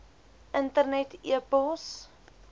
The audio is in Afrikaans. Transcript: internet e pos